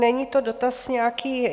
Není to dotaz nějaký...